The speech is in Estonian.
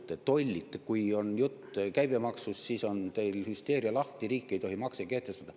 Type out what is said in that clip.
Kui on juttu käibemaksu st, siis on teil hüsteeria lahti, riik ei tohi makse kehtestada.